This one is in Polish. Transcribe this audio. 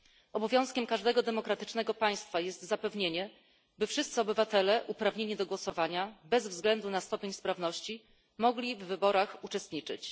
Obowiązkiem każdego demokratycznego państwa jest zapewnienie, by wszyscy obywatele uprawnieni do głosowania, bez względu na stopień sprawności, mogli w wyborach uczestniczyć.